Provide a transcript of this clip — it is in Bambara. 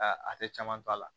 a tɛ caman to a la